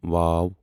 و